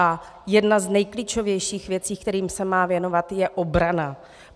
A jedna z nejklíčovějších věcí, kterým se má věnovat, je obrana.